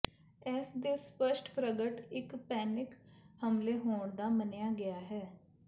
ਇਸ ਦੇ ਸਪਸ਼ਟ ਪ੍ਰਗਟ ਇੱਕ ਪੈਨਿਕ ਹਮਲੇ ਹੋਣ ਦਾ ਮੰਨਿਆ ਗਿਆ ਹੈ